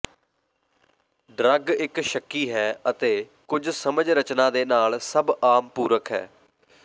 drug ਇੱਕ ਸ਼ੱਕੀ ਹੈ ਅਤੇ ਕੁਝ ਸਮਝ ਰਚਨਾ ਦੇ ਨਾਲ ਸਭ ਆਮ ਪੂਰਕ ਹੈ